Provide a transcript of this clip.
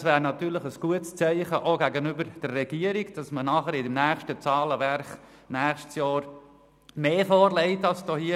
Es wäre natürlich ein gutes Zeichen auch gegenüber der Regierung, wenn beim nächsten Zahlenwerk im nächsten Jahr mehr vorgelegt würde als hier.